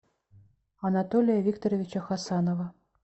анатолия викторовича хасанова